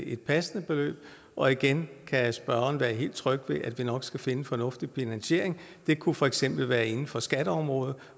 et passende beløb og igen kan spørgeren være helt tryg ved at vi nok skal finde en fornuftig finansiering det kunne for eksempel være inden for skatteområdet